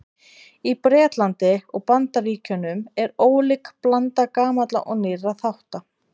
Í Bretlandi og Bandaríkjunum er ólík blanda gamalla og nýrra þátta.